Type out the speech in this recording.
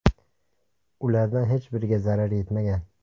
Ulardan hech biriga zarar yetmagan.